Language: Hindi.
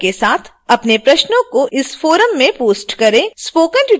कृपया समय के साथ अपने प्रश्नों को इस forum में post करें